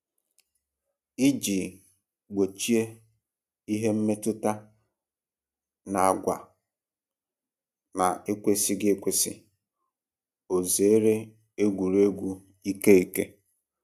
Iji gbochie ihe mmetụta na agwa na-ekwesịghị ekwesị, o zeere egwuregwu ike ike